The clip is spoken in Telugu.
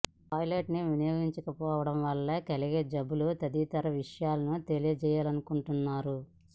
టాయ్ లెట్ ని వినియోగించకపోవడం వల్ల కలిగే జబ్బులు తదితర విషయాలను తెలియజేయాలనుకుంటున్నారు